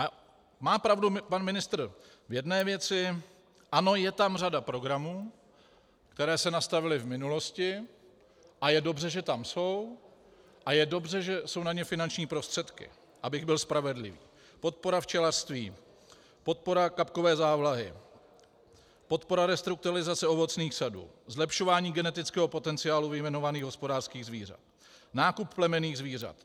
A má pravdu pan ministr v jedné věci, ano, je tam řada programů, které se nastavily v minulosti, a je dobře, že tam jsou, a je dobře, že jsou na ně finanční prostředky, abych byl spravedlivý: podpora včelařství, podpora kapkové závlahy, podpora restrukturalizace ovocných sadů, zlepšování genetického potenciálu vyjmenovaných hospodářských zvířat, nákup plemenných zvířat.